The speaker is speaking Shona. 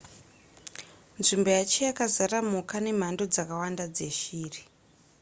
nzvimbo yacho yakazara mhuka nemhando dzakawanda dzeshiri